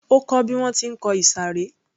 Ó kó bí wọ́n ti ń kọ ìsàré